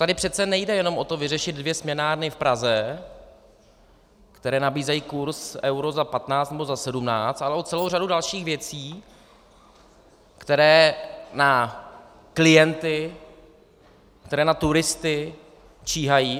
Tady přece nejde jen o to vyřešit dvě směnárny v Praze, které nabízejí kurz euro za 15 nebo za 17, ale o celou řadu dalších věcí, které na klienty, které na turisty číhají.